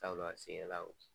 Tabula a la